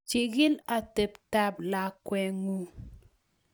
chikii otebtab lakweng'ung